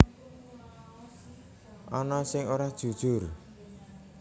Ana sing ora jujur